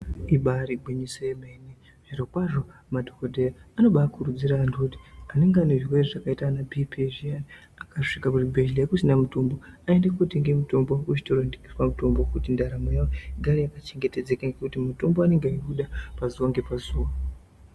Ibaari gwinyiso yemene zviro kwazvo madhokodheya anobaa kurudzira vantu kuti anenge ane zvirwere zvakaita ana bhipi zviyani , akasvika kuzvibhedhlera kusina mutumbu aende kotenga mutombo kuzvitoro zvinotengeswa mutombo kuti ndaramo yavo igare yakachengetedzeka ngokuti mutombo anenge eyi uda pazuva nge pazuva.